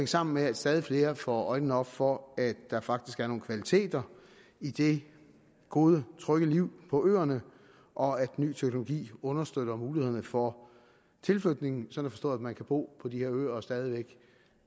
sammen med at stadig flere får øjnene op for at der faktisk er nogle kvaliteter i det gode trygge liv på øerne og at ny teknologi understøtter mulighederne for tilflytning sådan at forstå at man kan bo på de her øer og stadig væk